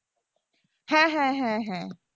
হ্যাঁ হ্যাঁ হ্যাঁ হ্যাঁ।